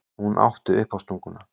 Hún átti uppástunguna.